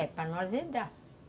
É, para não azedar.